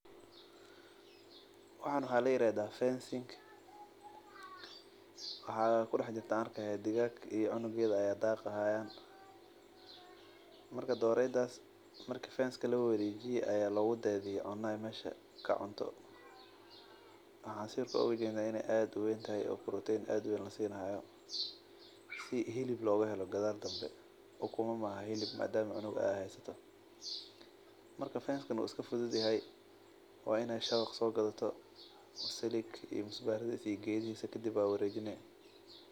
Waxaan waxaa layirahdaa fencing. Waxaa kudaxjirtah an arkayaa digag iyo cunugetha aya daqayan. Marka doreydas marki fenska lawarejiye aya logudadiye cuno ay Mesha kacunto. Waxan sidhokale ujednaa inaay ad uweyn tahay oo protein ad uweyn lasinihayo si hilib logahelo gadal dhambe ukuma maaha hilib madam ay cunug haysatoh. Marka fenskan u iska fududyahay , Wa inaa shawaq sogadato, silig iyo gedihisa iyo musbarihisa. Kadib ayaa warejini.